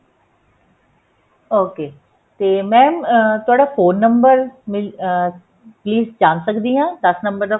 ok ਤੇ mam ਤੁਹਾਡਾ phone number ਮਿਲ ਅਹ please ਜਾਣ ਸਕਦੀ ਹਾਂ ਦਸ ਨੰਬਰ